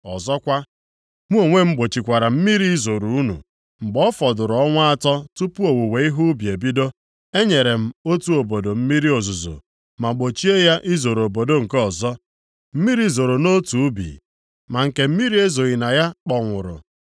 “Ọzọkwa, Mụ onwe m gbochikwara + 4:7 Maọbụ, kwụsịkwara mmiri izoro unu, mgbe ọ fọdụrụ ọnwa atọ tupu owuwe ihe ubi ebido. Enyere m otu obodo mmiri ozuzo, ma gbochie ya izoro obodo nke ọzọ. Mmiri zoro nʼotu ubi, ma nke mmiri ezoghị na ya kpọnwụrụ.